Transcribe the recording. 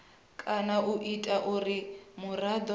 kana u ita uri muraḓo